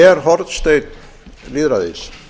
löggjafinn er hornsteinn lýðræðis